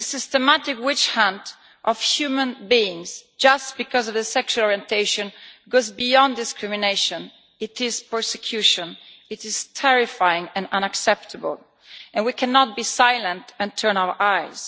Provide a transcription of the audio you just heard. The systematic witch hunt of human beings just because of their sexual orientation goes beyond discrimination it is persecution, it is terrifying and unacceptable, and we cannot be silent and turn our eyes.